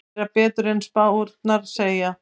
Gera betur en spárnar segja